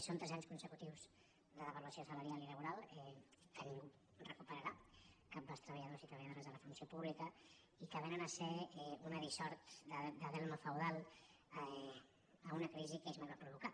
són tres anys consecu·tius de devaluació salarial i laboral que ningú recupe·rarà cap dels treballadors i treballadores de la funció pública i que vénen a ser una dissort de delme feudal a una crisi que ells no van provocar